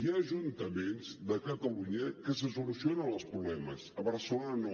hi ha ajuntaments de catalunya que se solucionen els problemes a barcelona no